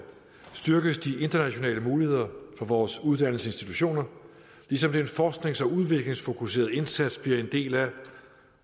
styrkes de internationale muligheder på vores uddannelsesinstitutioner ligesom den forsknings og udviklingsfokuserede indsats bliver en del af